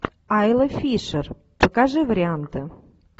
айла фишер покажи варианты